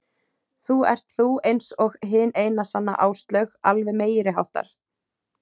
Þú ert þú ert eins og hin eina sanna Áslaug, alveg meiriháttar.